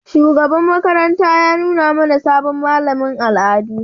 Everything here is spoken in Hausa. Shugaban makaranta ya nuna mana sabon malamin al'adu.